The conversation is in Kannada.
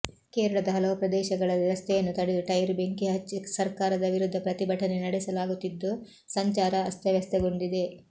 ಕೇರಳದ ಹಲವು ಪ್ರದೇಶಗಳಲ್ಲಿ ರಸ್ತೆಯನ್ನು ತಡೆದು ಟೈರ್ ಬೆಂಕಿ ಹಚ್ಚಿ ಸರ್ಕಾರದ ವಿರುದ್ಧ ಪ್ರತಿಭಟನೆ ನಡೆಸಲಾಗುತ್ತಿದ್ದು ಸಂಚಾರ ಅಸ್ತವ್ಯಸ್ತಗೊಂಡಿದೆ